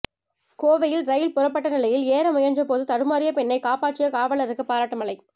கோவையில் ரயில் புறப்பட்ட நிலையில் ஏற முயன்ற போது தடுமாறிய பெண்ணை காப்பாற்றிய காவலருக்கு பாராட்டு மழை